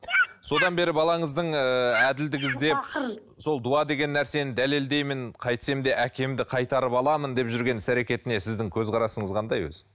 содан бері балаңыздың ыыы әділдік іздеп сол дуа деген нәрсені дәлелдеймін қайтсем де әкемді қайтарып аламын деп жүрген іс әрекетіне сіздің көзқарасыңыз қандай өзі